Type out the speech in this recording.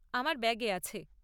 আমার ব্যাগে আছে।